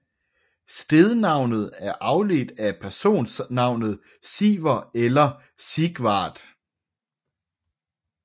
Stednavnet er afledt af personnavnet Siver eller Sigvard